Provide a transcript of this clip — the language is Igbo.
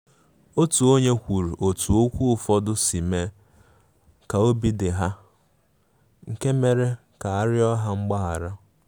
Otu onye kwuru otú okwu ụfọdụ si mee ka obi dị ha, nke mere ka a riọ ha mgbaghara.